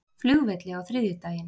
flugvelli á þriðjudaginn.